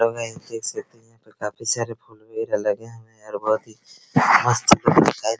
hello guys देख सकते हैं यहाँ पर काफी सारे फूल वगैरा लगे हुए है और बहुत ही